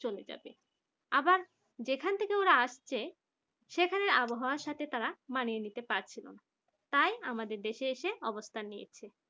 চলে যাবে আবার যেখান থেকে ওরা আসছে সেখানে আবহাওয়ার সাথে তারা মানিয়ে নিতে পারবে তাই আমাদের দেশে এসে অবস্থান নিয়েছে